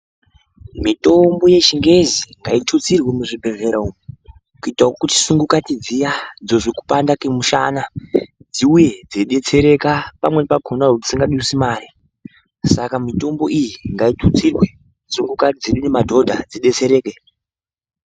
Mitombo yechingezi ngaitutsirwe muzvibhedhlera umu kuitira kuti sungukati dziya dzozwe kupanda kwemusana dziuye dzeidetsereka pamweni pakona dzisinga dutsi mari saka mitombo iyi ngayitutsirwe sungukati dzedu ngemadhodha dzidetsereke.